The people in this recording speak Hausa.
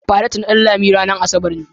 faret na Danlami zmranar asabar ne.